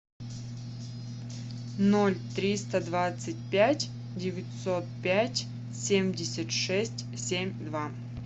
ноль триста двадцать пять девятьсот пять семьдесят шесть семь два